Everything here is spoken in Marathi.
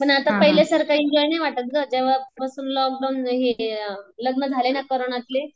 पण आता पहिले सारखं एन्जॉय नाही वाटत गं जेंव्हापासून लॉकडाऊन हे लग्न झालंय ना कोरोनातले.